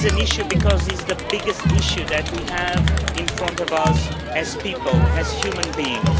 It is an issue because it is the biggest issue that we have in front of us as people, as human beings.